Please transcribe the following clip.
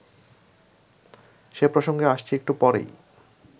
সে প্রসঙ্গে আসছি একটু পরেই